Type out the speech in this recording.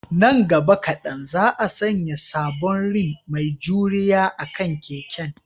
Nan gaba kadan, za a sanya sabon rim mai juriya akan keken